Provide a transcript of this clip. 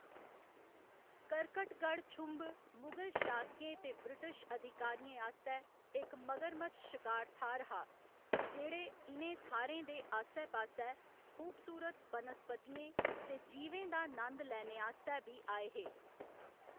करकटगढ़ छुंभ मुगल शासकें ते ब्रिटिश अधिकारियें आस्तै इक मगरमच्छ शकार थाह्‌‌‌र हा, जेह्‌‌ड़े इ'नें थाह्‌‌‌रें दे आस्सै पास्सै खूबसूरत बनस्पतियें ते जीवें दा नंद लैने आस्तै बी आए हे।